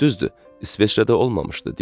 Düzdür, İsveçrədə olmamışdı,